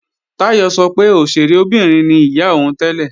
Táyọ̀ sọ pé òṣèré obìnrin ni ìyá òun tẹ́lẹ̀